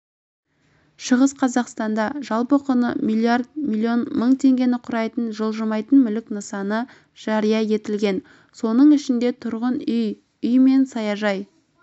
шығыс қазақстанда жалпы құны миллиард миллион мың теңгені құрайтын жылжымайтын мүлік нысаны жария етілген соның ішінде тұрғын үй үй мен саяжай